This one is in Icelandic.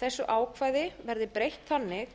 þessu ákvæði verði breytt þannig